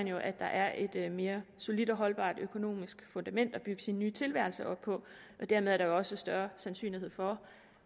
jo at der er et et mere solidt og holdbart økonomisk fundament at bygge sin nye tilværelse op på og dermed er der jo også større sandsynlighed for